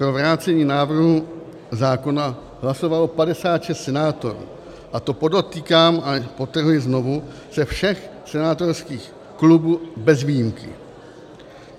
Pro vrácení návrhu zákona hlasovalo 56 senátorů, a to podotýkám a podtrhuji znovu, ze všech senátorských klubů bez výjimky.